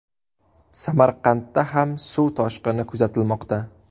Samarqandda ham suv toshqini kuzatilmoqda .